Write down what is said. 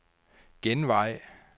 genvej